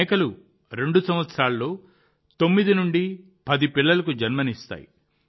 మేకలు 2 సంవత్సరాల్లో 9 నుండి 10 పిల్లలకు జన్మనిస్తాయి